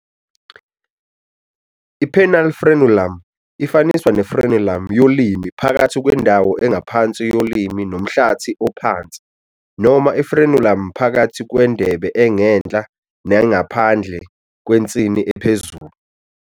I-penile frenulum ifaniswa ne- frenulum yolimi phakathi kwendawo engaphansi yolimi nomhlathi ophansi, noma i-frenulum phakathi kwendebe engenhla nengaphandle kwensini ephezulu.